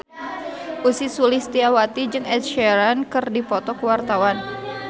Ussy Sulistyawati jeung Ed Sheeran keur dipoto ku wartawan